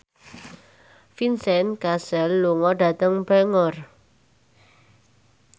Vincent Cassel lunga dhateng Bangor